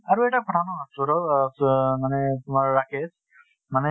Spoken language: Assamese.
আৰু এটা কথা ন সৈৰভ অহ চৌ অহ মানে তোমাৰ ৰাকেশ মানে